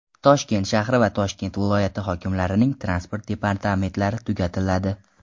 Toshkent shahri va Toshkent viloyati hokimliklarining transport departamentlari tugatiladi.